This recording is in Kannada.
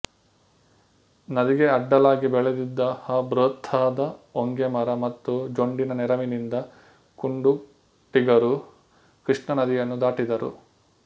ನದಿಗೆ ಅಡ್ಡಲಾಗಿ ಬೆಳೆದಿದ್ದ ಆ ಬೃಹತ್ತಾದ ಹೊಂಗೆ ಮರ ಮತ್ತು ಜೊಂಡಿನ ನೆರವಿನಿಂದ ಕುಂಡುಟಿಗರು ಕೃಷ್ಣಾ ನದಿಯನ್ನು ದಾಟಿದರು